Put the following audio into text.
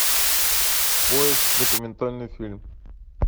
поиск документальный фильм